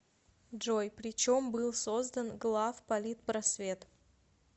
джой при чем был создан главполитпросвет